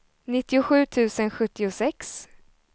nittiosju tusen sjuttiosex